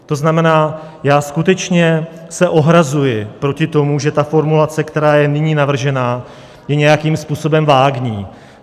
To znamená, já skutečně se ohrazuji proti tomu, že ta formulace, která je nyní navržena, je nějakým způsobem vágní.